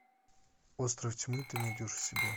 остров тьмы ты найдешь у себя